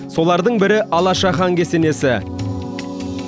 солардың бірі алаша хан кесенесі